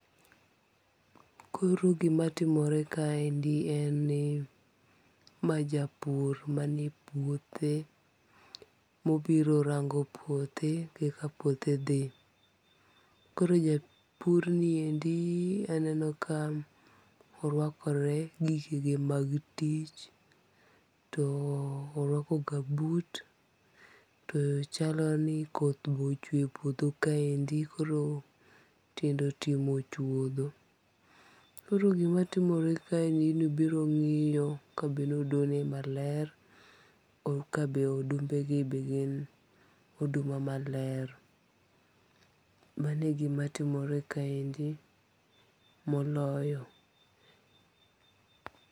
Koro gima timore kaendi en ni ma japur mani e puothe mobiro rango puothe kaka puothe dhi. Koro japur niendi aneno ka orwakore gikege mag tich. To orwako gambut to chalo ni koth be ochwe puodho kaendi koro tiende otimo chuodho. Koro gimatimore kaendi ni obiro ng'iyo ka be ne odo ne maler. Ka be odumbe gi be gin oduma maler. Mano e gima timore kaendi moloyo.